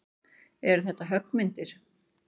Eru þetta höggmyndir?